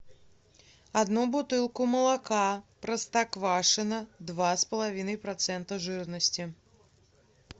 одну бутылку молока простоквашино два с половиной процента жирности